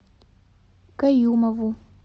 каюмову